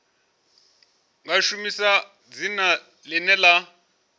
nga shumisa dzina ḽine ḽa